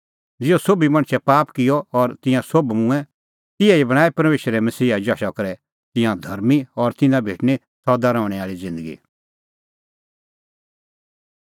ज़िहअ सोभी मणछै पाप किअ और तिंयां सोभ मूंऐं तिहै ई बणांणैं परमेशरा मसीहे जशा करै तिंयां धर्मीं और तिन्नां भेटणीं सदा रहणैं आल़ी ज़िन्दगी